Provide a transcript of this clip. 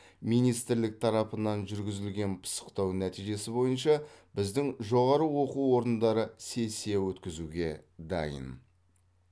министрлік тарапынан жүргізілген пысықтау нәтижесі бойынша біздің жоғары оқу орындары сессия өткізуге дайын